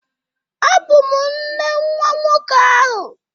Ọ bụ m nne nwa nwoke ahụ